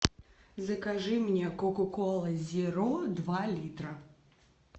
закажи мне кока кола зеро два литра